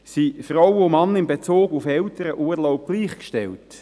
Sind Frauen und Männer in Bezug auf den Elternurlaub gleichgestellt?